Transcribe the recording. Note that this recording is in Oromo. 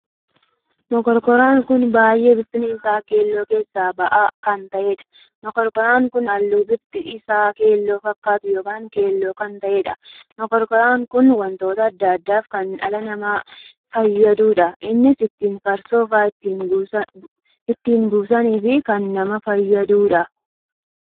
Mokonkoraan kun baay'ee bifti isaa keelloo keessa bahaa kan taheedha. mokonkoraan kun halluu bifti isaa keelloo fakkaatu ykn keelloo kan taheedha. mokonkoraa kun wantoota addaa addaaf kan dhala nama fayyadudha. innis; ittiin farsoofaa itti buusaniif kan nama fayyaduudha.